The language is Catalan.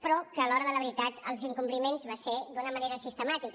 però que a l’hora de la veritat els incompliments van ser d’una manera sistemàtica